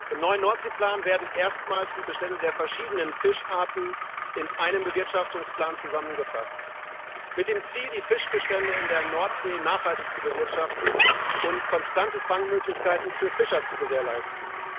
Im neuen Nordseeplan werden erstmals die Bestände der verschiedenen Fischarten in einem Bewirtschaftungsplan zusammengefasst, mit dem Ziel, die Fischbestände in der Nordsee nachhaltig zu bewirtschaften und konstante Fangmöglichkeiten für Fischer zu gewährleisten.